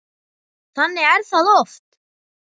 Þannig er það oft.